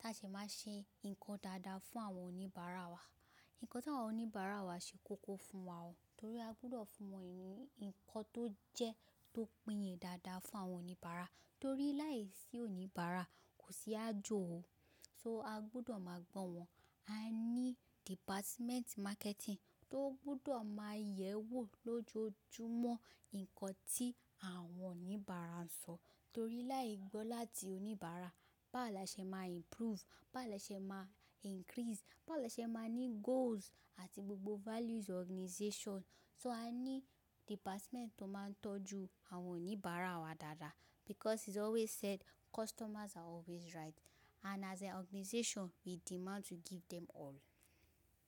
ta ṣe máa ṣe nǹkan dáadáa fún àwọn oníbàárà wa. Nǹkan tí àwọn oníbàárà wa ṣe kókó fún wa ó, torí a gbúdọ̀ fún wọn ni nǹkan tó jẹ́ tó pìnyin dáadáa fún àwọn oníbàárà torí láìsí oníbàárà kò sí ájọ o. So a gbúdọ̀ máa gbọ́ wọn. A ní department marketing tó gbúdọ̀ máa yẹ̀wò lójoojúmọ́ nǹkan tí àwọn oníbàárà sọ torí láì gbọ́ láti oníbàárà báwo laṣe máa improve, bá laṣe máa increase, báwo laṣe máa ní goals àti gbogbo values organization. So a ní department tó máa ń tọ́jú àwọn oníbàárà wa dáadáa because it's always said customers are always right and as an organization we demand to give them all.